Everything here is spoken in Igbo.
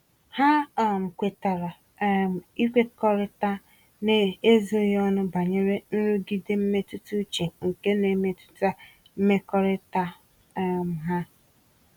Ha um kwetara um ịkwukọrịta n'ezoghị ọnụ banyere nrụgide mmetụta uche nke n'emetụta mmekọrịta um ha.